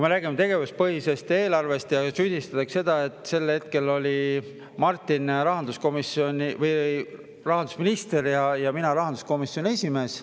Tegevuspõhisest eelarvest rääkides süüdistatakse meid selles, et sel hetkel oli Martin rahandusminister ja mina rahanduskomisjoni esimees.